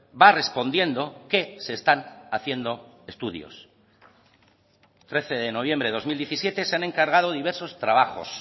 va respondiendo que se están haciendo estudios trece de noviembre de dos mil diecisiete se han encargado diversos trabajos